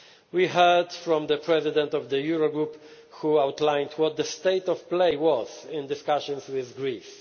We heard from the President of the Eurogroup, who outlined what the state of play was in discussions with